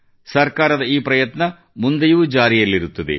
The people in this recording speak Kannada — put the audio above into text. ಸರ್ಕಾರದ ಈ ಪ್ರಯತ್ನ ಮುಂದೆಯೂ ಜಾರಿಯಲ್ಲಿರುತ್ತದೆ